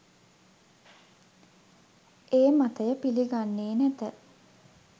ඒ මතය පිළිගන්නේ නැත